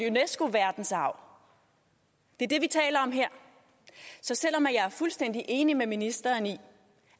unesco verdensarv det er det vi taler om her så selv om jeg er fuldstændig enig med ministeren i